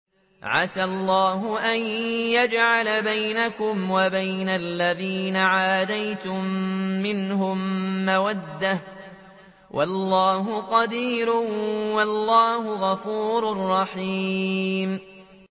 ۞ عَسَى اللَّهُ أَن يَجْعَلَ بَيْنَكُمْ وَبَيْنَ الَّذِينَ عَادَيْتُم مِّنْهُم مَّوَدَّةً ۚ وَاللَّهُ قَدِيرٌ ۚ وَاللَّهُ غَفُورٌ رَّحِيمٌ